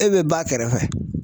E be ba kɛrɛfɛ